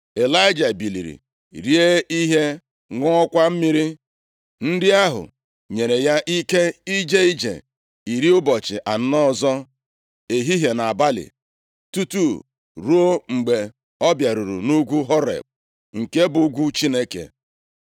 Ịlaịja biliri rie ihe, ṅụọkwa mmiri. Nri ahụ nyere ya ike ije ije iri ụbọchị anọ ọzọ, ehihie na abalị, tutu ruo mgbe ọ bịaruru nʼugwu Horeb + 19:8 Ugwu Horeb Maọbụ, Saịnaị, ọ bụ nʼebe a ka Chineke mere ka Mosis hụ ya anya. \+xt Ọpụ 3:1; 4:27; 31:18; 32:17\+xt* nke bụ ugwu Chineke.